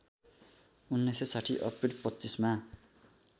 १९६० अप्रिल २५ मा